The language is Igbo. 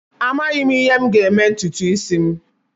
Amaghị m ihe m ga-eme ntutu isi m